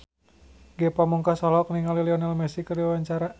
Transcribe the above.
Ge Pamungkas olohok ningali Lionel Messi keur diwawancara